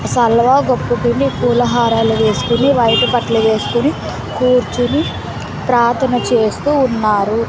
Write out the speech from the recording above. సల్లగా ఒక పుటిని పూల హారాలు వేసుకొని వైట్ బట్టలు వేసుకుని కూర్చుని ప్రార్థన చేస్తూ ఉన్నారు.